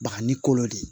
Baga ni kolo de